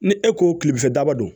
Ni e ko kilemafɛ daba don